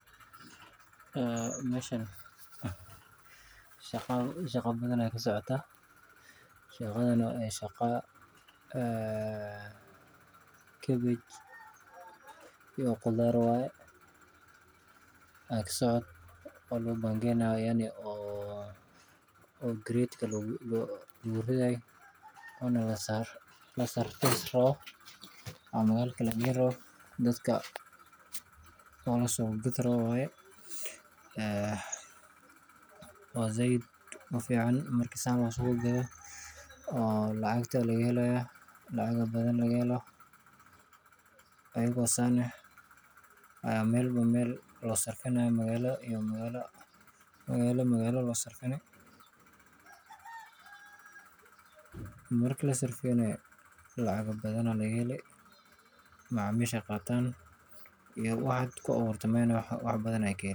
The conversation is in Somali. Meshan shaqa badan aya kasocota kabej uyo qudhar waye oo garedka lagu gurayo dadka laga gadhi rawo waye iyaga oo san eh marki lasarfinayo lacag badan aya laga heli sas waye sitha losameyo hoshan waxaa bulshaada loga qabta ini maaragte canaha laga somalo ee ariga lodha gela laga somalo san arki hayo waxana lagu hagajiyaa.